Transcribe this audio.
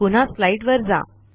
पुन्हा स्लाईडवर जा